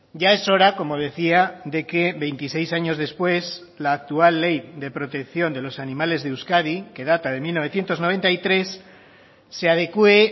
ya es hora como decía de que veintiséis años después la actual ley de protección de los animales de euskadi que data de mil novecientos noventa y tres se adecúe